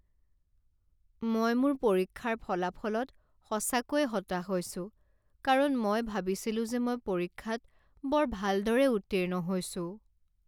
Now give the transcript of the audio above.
মই মোৰ পৰীক্ষাৰ ফলাফলত সঁচাকৈয়ে হতাশ হৈছো কাৰণ মই ভাবিছিলো যে মই পৰীক্ষাত বৰ ভালদৰে উত্তীৰ্ণ হৈছোঁ।